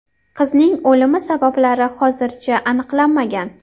Qizning o‘limi sabablari hozircha aniqlanmagan.